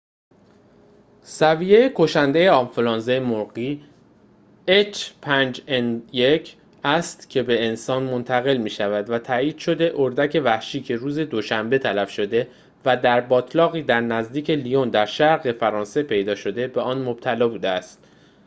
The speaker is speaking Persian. h5n1 سویه کشنده آنفلوانزای مرغی است که به انسان منتقل می‌شود، و تایید شده اردک وحشی که روز دوشنبه تلف شده و در باتلاقی در نزدیکی لیون در شرق فرانسه پیدا شده، به آن مبتلا بوده است